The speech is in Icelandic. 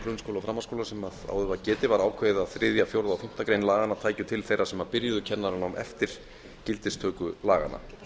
grunnskóla og framhaldsskóla sem áður var getið var ákveðið að þriðji fjórði og fimmtu grein laganna tækju til þeirra sem byrjuðu kennaranám eftir gildistöku laganna